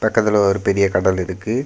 பக்கத்துல ஒரு பெரிய கடல் இருக்கு.